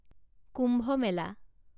কুম্ভ মেলা